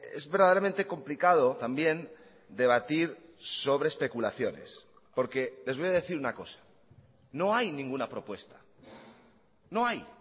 es verdaderamente complicado también debatir sobre especulaciones porque les voy a decir una cosa no hay ninguna propuesta no hay